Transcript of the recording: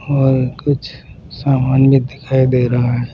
और कुछ सामान भी दिखाई दे रहा है।